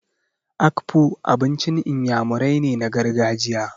Akpu abincin Iyamurai ne na gargajiya.